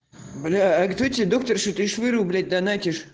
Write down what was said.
актобе доктор что ты швырнул блять дана